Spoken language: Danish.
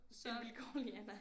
En vilkårlig Anna